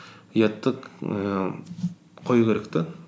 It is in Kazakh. ұятты ііі қою керек те